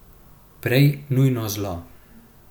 Prej nujno zlo.